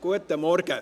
Guten Morgen!